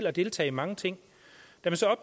og deltage i mange ting